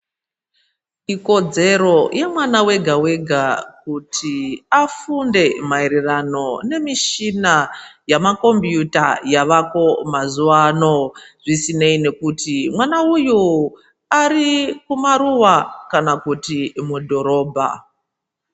Ikodzero yemwana wega wega kuti afunde maererano nemishina yamakombuuta yavako mazuva ano zvisinei nekuti mwana uyo ari kumaruva kana kuti mudhorobha.